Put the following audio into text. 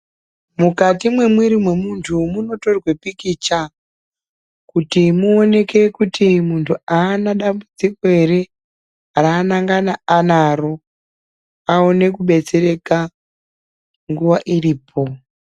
Mukati mwemwiiri mwemuntu munotorwe pikicha kuti muoneke kuti haana dambudziko hete raangadani anaro aone kudetsereka nguwa iripo. .